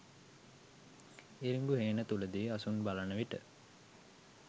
ඉරිඟු හේන තුලදී අසුන් බලන විට